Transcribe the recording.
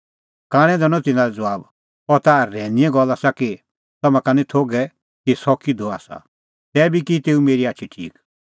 कांणै दैनअ तिन्नां लै ज़बाब अह ता रहैनीए गल्ल आसा कि तम्हां का निं थोघै कि सह किधो आसा तैबी की तेऊ मेरी आछी ठीक